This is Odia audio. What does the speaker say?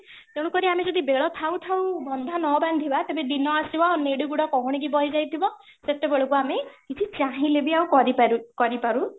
ତେଣୁ କରି ଆମେ ଯଦି ବେଳ ଥାଉ ଥାଉ ବନ୍ଧ ନ ବାନ୍ଧିବା ତ ଦିନ ଆସିବ ନେଡି ଗୋଡ କହୁଣି କୁ ବୋହି ଯାଇଥିବ, ସେତେବେଳକୁ ଆମେ କିଛି ଚାହିଁଲେ ବି ଆଉ କିଛି କରି ପାରି କରି ପାରୁ